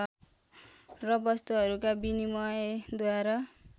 र वस्तुहरूका विनिमयद्वारा